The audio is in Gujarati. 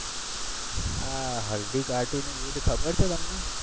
આ હલ્દીઘાટીનું યુદ્ધ ખબર છે તમને?